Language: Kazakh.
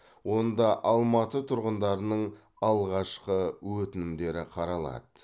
онда алматы тұрғындарының алғашқы өтінімдері қаралады